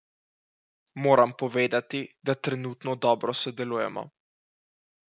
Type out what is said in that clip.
Moram povedati, da trenutno dobro sodelujemo.